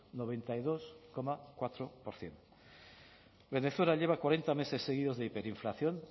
noventa y dos coma cuatro por ciento venezuela lleva cuarenta meses seguidos de hiperinflación